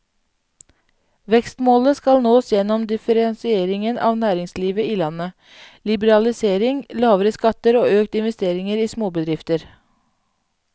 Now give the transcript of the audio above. Vekstmålet skal nås gjennom differensiering av næringslivet i landet, liberalisering, lavere skatter og økte investeringer i småbedrifter.